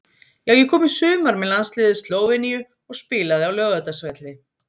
Já ég kom í sumar með landsliði Slóveníu og spilaði á Laugardalsvelli.